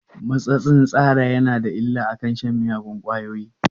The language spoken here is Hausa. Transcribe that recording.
Matsatsin tsara yana da illa akan shan miyagun ƙwayoyi?